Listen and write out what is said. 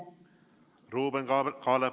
Ruuben Kaalep, palun!